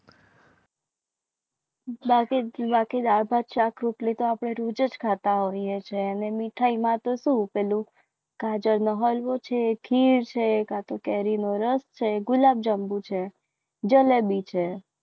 બાકી દાળ ભાત શાક રોટલી તો આપણે રોજ જ ખાતા હોઈએ છીએ. અને મીઠાઈમાં તો શું પેલું કાજલ નો હલવો છે ખીર છે ગુલાબ જાંબુ છે જલેબી છે.